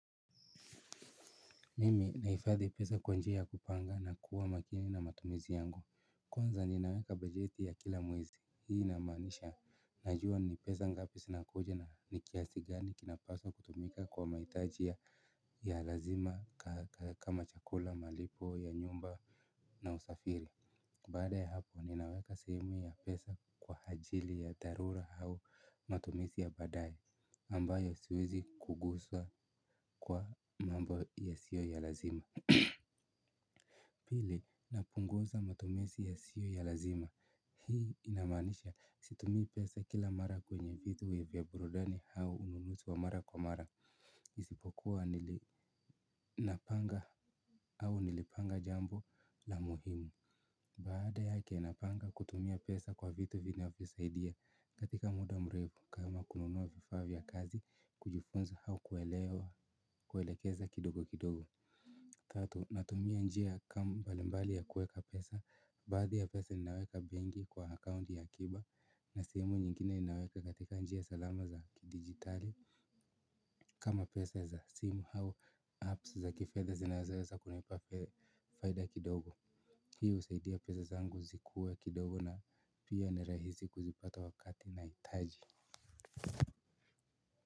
Mimi nahifadhi pesa kwa njia ya kupanga na kuwa makini na matumizi yangu, kwanza ninaweka bajeti ya kila mwezi. Hii inamaanisha, najua ni pesa ngapi ninazo na kiasi gani kinapaswa kutumika kwa mahitaji ya lazima. Kama chakula, malipo, ya nyumba na usafiri. Baada ya hapo, ninaweka sehemu ya pesa kwa ajili ya dharura au matumizi ya baadaye. Ambayo siwezi kugusa kwa mambo yasiyo ya lazima. Pili, napunguza matumizi yasiyo ya lazima. Hii inamaanisha situmii pesa kila mara kwenye vitu vya burudani au manunuzi ya mara kwa mara. Isipokuwa nilipanga jambo la muhimu baada yake, napanga kutumia pesa kwa vitu vinavyosaidia katika muda mrefu, kama kununua vifaa vya kazi, kujifunza, au kuwekeza kidogo kidogo. Tatu, natumia njia mbalimbali za kuweka pesa, baadhi ya pesa ninaweka benki kwa akaunti ya akiba, na nyingine ninaweka katika njia salama za kidijitali. Kama pesa za simu au apps za kifedha, ninaweza kupata faida kidogo. Hii inasaidia pesa zangu zikuwe kidogo na pia ni rahisi kuzipata wakati ninapozihitaji.